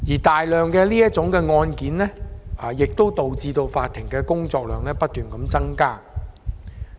大量的這類案件亦導致法庭工作量不斷增加。